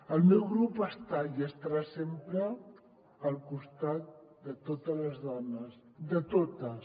el meu grup està i estarà sempre al costat de totes les dones de totes